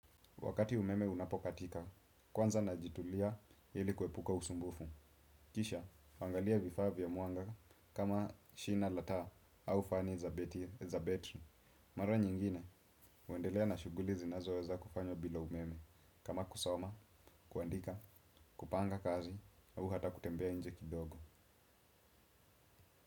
Wakati umeme unapokatika, kwanza najitulia ili kuepuka usumbufu. Kisha, naangalia vifaa vya mwanga kama shina la taa au fani za betri. Mara nyingine, huendelea na shuguli zinazoweza kufanya bila umeme. Kama kusoma, kuandika, kupanga kazi au hata kutembea nje kidogo.